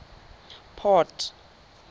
port